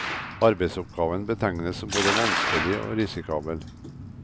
Arbeidsoppgaven betegnes som både vanskelig og risikabel.